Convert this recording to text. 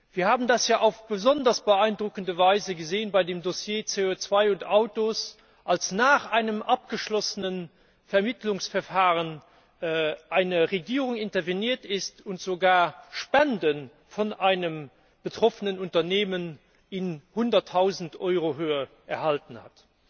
Wir haben das ja auf besonders beeindruckende Weise bei dem Dossier CO 2 und Autos gesehen, als nach einem abgeschlossenen Vermittlungsverfahren eine Regierung interveniert hat und sogar Spenden von einem betroffenen Unternehmen in Höhe von Hunderttausend Euro erhalten hat.